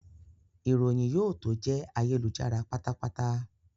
Ìròyìn yóò tó jẹ́ ayélujára pátápátá